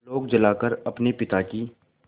आलोक जलाकर अपने पिता की